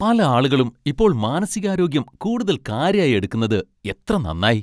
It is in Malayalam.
പല ആളുകളും ഇപ്പോൾ മാനസികാരോഗ്യം കൂടുതൽ കാര്യായി എടുക്കുന്നത് എത്ര നന്നായി!